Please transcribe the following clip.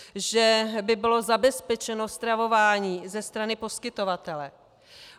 Že by bylo zabezpečeno stravování ze strany poskytovatele.